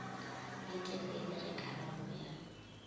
ye telele ge karabo ya